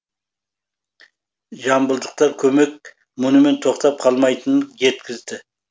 жамбылдықтар көмек мұнымен тоқтап қалмайтынын жеткізді